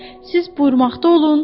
Siz buyurmaqda olun.